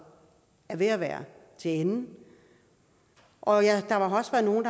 er ved at være til ende og der har også været nogle